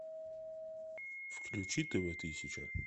включи тв тысяча